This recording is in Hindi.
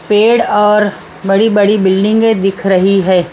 पेड़ और बड़ी-बड़ी बिल्डिंगें दिख रही है।